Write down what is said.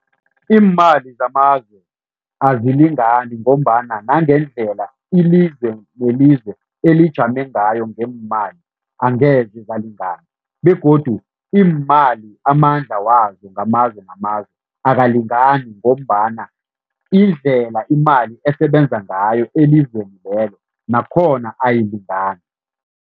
Iimali zamazwe azilingani ngombana nangendlela ilizwe nelizwe elijame ngayo ngeemali angeze zalingana begodu iimali amandla wazo ngamazwe namazwe, akalingani ngombana indlela imali esebenza ngayo elizweni lelo nakhona ayilingani.